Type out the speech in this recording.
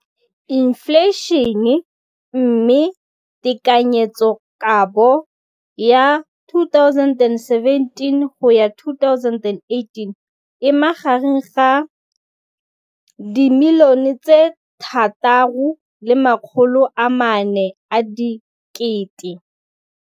infleišene, mme tekanyetsokabo ya 2017 go ya 2018 e magareng ga 6.4 bilione.